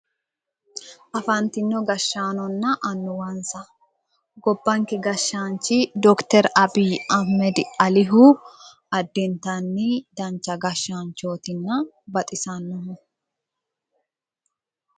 Afantino gashshaanonna annuwansa gobbankera gashshaanchi doctor abiy ahimed alihu addintanni dancha gashshaanchootinna baxisannoho